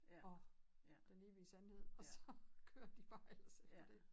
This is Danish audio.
Og den evige sandhed og så kører de bare ellers efter dét